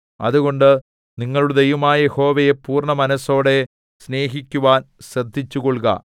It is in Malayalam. അതുകൊണ്ട് നിങ്ങളുടെ ദൈവമായ യഹോവയെ പൂർണ്ണമനസ്സോടെ സ്നേഹിക്കുവാൻ ശ്രദ്ധിച്ചുകൊൾക